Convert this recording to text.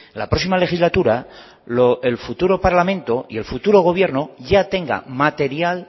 la próxima legislatura el futuro parlamento y el futuro gobierno ya tenga material